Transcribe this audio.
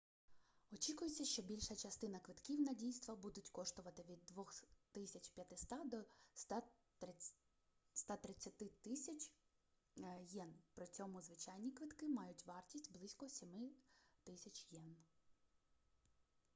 очікується що більша частина квитків на дійства будуть коштувати від 2500 до 130000 йен при цьому звичайні квитки мають вартість близько 7000 йен